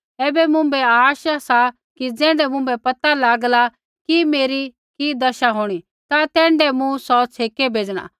ऐबै मुँभै आशा सा कि ज़ैण्ढै मुँभै पता लागला कि मेरी कि दशा होंणी ता तैण्ढै मूँ सौ छ़ेकै भेज़णा